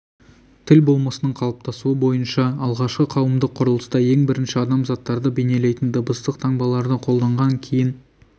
тіл болмысының қалыптасуы бойынша алғашқы қауымдық құрылыста ең бірінші адам заттарды бейнелейтін дыбыстық таңбаларды қолданған кейін